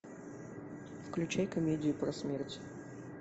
включай комедию про смерть